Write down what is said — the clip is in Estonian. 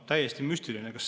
Täiesti müstiline!